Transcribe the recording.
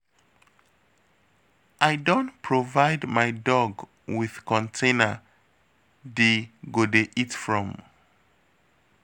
I don provide my dog with container d go dey eat from.